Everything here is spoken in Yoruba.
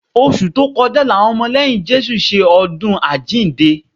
Oṣù tó kọjá làwọn ọmọ lẹ́yìn Jésù ṣe ọdún àjíǹde